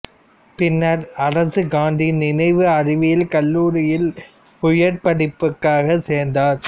பின்னர் அரசு காந்தி நினைவு அறிவியல் கல்லூரியில் உயர் படிப்புக்காக சேர்ந்தார்